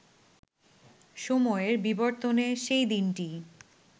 সময়ের বিবর্তনে সেই দিনটি